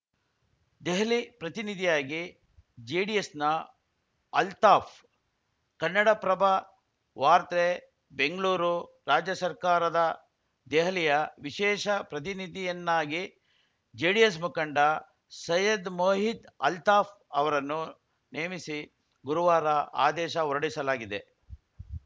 ದೆಹಲಿ ಪ್ರತಿನಿಧಿಯಾಗಿ ಜೆಡಿಎಸ್‌ನ ಅಲ್ತಾಫ್‌ ಕನ್ನಡಪ್ರಭ ವಾರ್ತೆ ಬೆಂಗಳೂರು ರಾಜ್ಯ ಸರ್ಕಾರದ ದೆಹಲಿಯ ವಿಶೇಷ ಪ್ರತಿನಿಧಿಯನ್ನಾಗಿ ಜೆಡಿಎಸ್‌ ಮುಖಂಡ ಸೈಯದ್‌ ಮೊಹಿದ್‌ ಅಲ್ತಾಫ್‌ ಅವರನ್ನು ನೇಮಿಸಿ ಗುರುವಾರ ಆದೇಶ ಹೊರಡಿಸಲಾಗಿದೆ